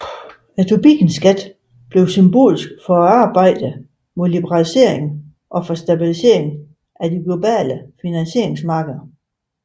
Tobinskatten blev symbolsk for arbejdet mod liberalisering og for stabilisering af de globale finansmarkedene